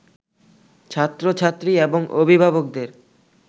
ছাত্র-ছাত্রী এবং অভিভাবকদের